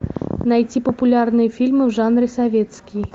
найти популярные фильмы в жанре советский